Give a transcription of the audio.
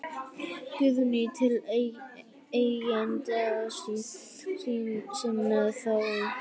Guðný: Til eigenda sinna þá?